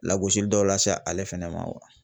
Lagosili dɔ lase ale fɛnɛ ma wa